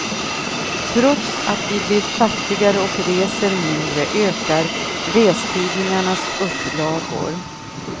Trots att vi blir fattigare och reser mindre ökar restidningarnas upplagor.